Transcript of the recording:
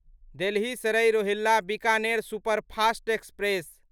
Delhi Sarai Rohilla Bikaner superfast express